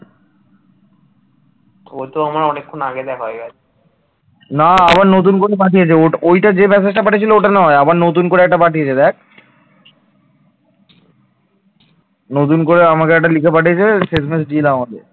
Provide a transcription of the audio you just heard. নতুন করে আমাকে একটা লিখে পাঠিয়েছে শেষ মেশ deal আমাদের